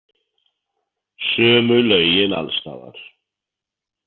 Sömu lögin alls staðar.